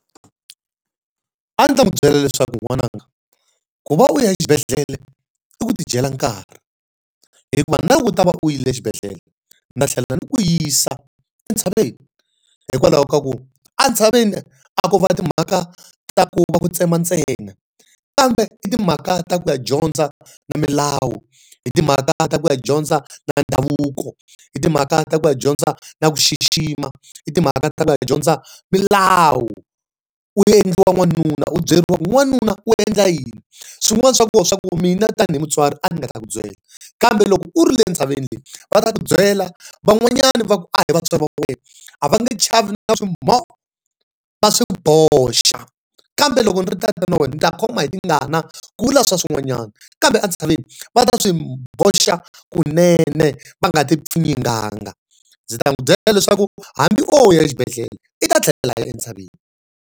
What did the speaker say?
A ndzi ta n'wi byela leswaku n'wananga, ku va u ya xibedhlele i ku ti dyela nkarhi hikuva na loko u ta va u yi le xibedhlele ni tlhela ni ku yisa entshaveni. Hikwalaho ka ku a ntshaveni a ko va timhaka ta ku va ku tsema ntsena, kambe i timhaka ta ku ya dyondza na milawu, hi timhaka ta ku ya dyondza na ndhavuko, hi timhaka ta ku ya hi dyondza na ku xixima, hi timhaka ta ku ya dyondza milawu. U endliwa n'wanuna, u byeriwa ku n'wanuna u endla yini. Swin'wana swa kona i swa ku mina tanihi mutswari a ni nga ta ku byela kambe loko u ri le ntshaveni le, va ta ku byela van'wanyana a hi vatswari va wa wena, a va nge chavi na swi va swi boxa. Kambe loko ni ri tatana wena ni ta khoma hi tingana ku vula swin'wanyana, kambe entshaveni va ta swi boxa kunene va nga ti pfinyinganga. Ndzi ta n'wi byela leswaku hambi o ya exibedhela, i ta tlhela ya entshaveni.